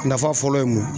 Nafa fɔlɔ ye mun ye